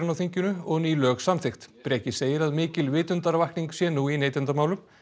á þinginu og ný lög samþykkt Breki segir að mikil vitundarvakning sé nú í neytendamálum